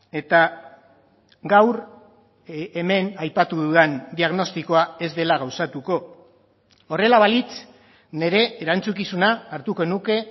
eta gaur hemen aipatu dudan diagnostikoa ez dela gauzatuko horrela balitz nire erantzukizuna hartuko nuke